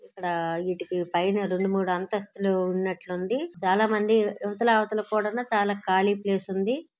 ఇక్కడ వీటికి పైన రెండు మూడు అంతస్తులు ఉన్నట్లుంది చాలా మంది ఇవతల అవతల కూడానూ చాలా ఖాళీ ప్లేస్ ఉంది.